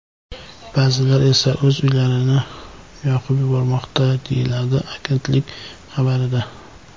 Ba’zilar esa o‘z uylarini yoqib yubormoqda”, deyiladi agentlik xabarida.